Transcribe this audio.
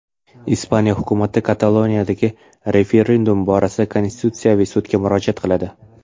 Ispaniya hukumati Kataloniyadagi referendum borasida Konstitutsiyaviy sudga murojaat qiladi.